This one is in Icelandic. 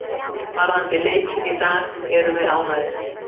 Varðandi leikinn í dag erum við ánægðir.